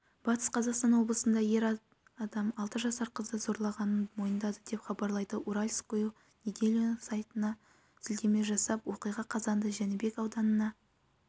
батыс қазақстан облысында ер адам алты жасар қызды зорлағанын мойындады деп хабарлайды уральскую неделю сайтына сілтеме жасап оқиға қазанда жәнібек ауданына